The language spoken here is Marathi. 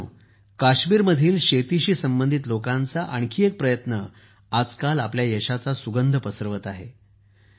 मित्रांनो काश्मीरमधील शेतीशी संबंधित लोकांचा आणखी एक प्रयत्न आजकाल आपल्या यशाचा सुगंध पसरवत आहे